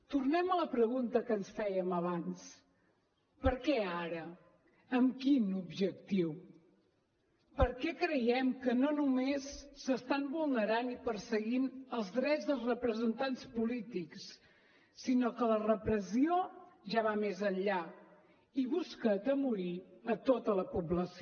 tornem a la pregunta que ens fèiem abans per què ara amb quin objectiu per què creiem que no només s’estan vulnerant i perseguint els drets de representants polítics sinó que la repressió ja va més enllà i busca atemorir tota la població